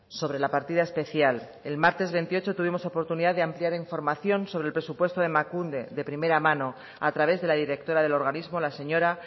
sobre la partida especial el martes veintiocho tuvimos oportunidad de ampliar información sobre el presupuesto de emakunde de primera mano a través de la directora del organismo la señora